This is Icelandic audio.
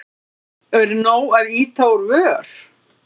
Er nóg að ýta úr vör?